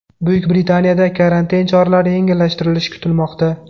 Buyuk Britaniyada karantin choralari yengillashtirilishi kutilmoqda.